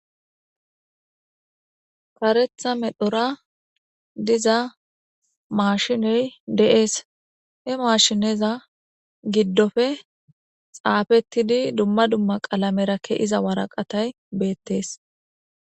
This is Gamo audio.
karetha medhora diza maashiney deees he maashineza giddofe xaafettidi dumma dumma qaalamera ke iza waraqatay beettees